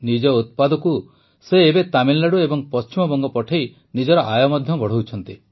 ନିଜ ଉତ୍ପାଦକୁ ସେ ଏବେ ତାମିଲନାଡୁ ଏବଂ ପଶ୍ଚିମବଙ୍ଗ ପଠାଇ ନିଜର ଆୟ ମଧ୍ୟ ବଢ଼ାଉଛନ୍ତି